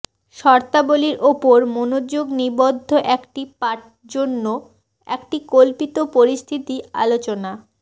শর্তাবলী উপর মনোযোগ নিবদ্ধ একটি পাঠ জন্য একটি কল্পিত পরিস্থিতি আলোচনা